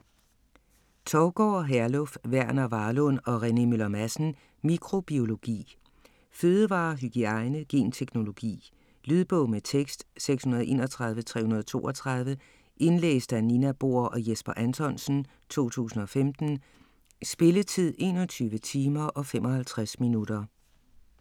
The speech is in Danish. Thougaard, Herluf, Verner Varlund og Rene Møller Madsen: Mikrobiologi Fødevarer, hygiejne, genteknologi. Lydbog med tekst 631332 Indlæst af Nina Bohr og Jesper Anthonsen, 2015. Spilletid: 21 timer, 55 minutter.